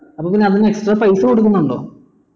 അപ്പൊ അതിന് extra പൈസ കൊടുക്കുന്നുണ്ടോ